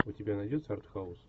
у тебя найдется арт хаус